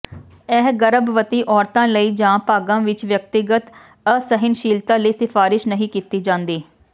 ਇਹ ਗਰਭਵਤੀ ਔਰਤਾਂ ਲਈ ਜਾਂ ਭਾਗਾਂ ਵਿਚ ਵਿਅਕਤੀਗਤ ਅਸਹਿਣਸ਼ੀਲਤਾ ਲਈ ਸਿਫਾਰਸ਼ ਨਹੀਂ ਕੀਤੀ ਜਾਂਦੀ